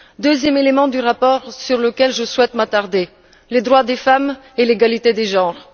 Deuxième élément du rapport sur lequel je souhaite m'attarder les droits des femmes et l'égalité des genres.